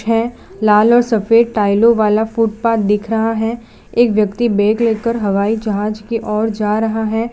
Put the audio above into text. है लाल और सफेद टाइलो वाला फुटपाथ दिख रहा है एक व्यक्ति बैग लेकर हवाई जहाज की और जा रहा है।